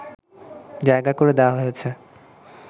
জায়গা করে দেয়া হয়েছে